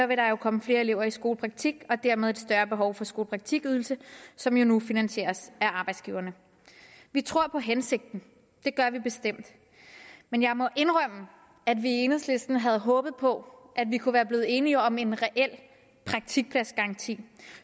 vil der jo komme flere elever i skolepraktik og dermed et større behov for skolepraktikydelse som jo nu finansieres af arbejdsgiverne vi tror på hensigten det gør vi bestemt men jeg må indrømme at vi i enhedslisten havde håbet på at vi kunne være blevet enige om en reel praktikpladsgaranti